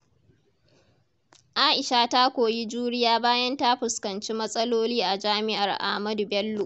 Aisha ta koyi juriya bayan ta fuskanci matsaloli a jami’ar Ahmadu Bello.